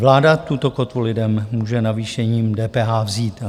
Vláda tuto kotvu lidem může navýšením DPH vzít.